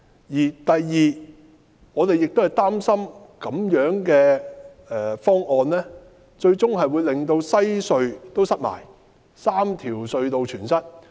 其次，我們亦擔心這樣的方案最終亦會令西區海底隧道擠塞。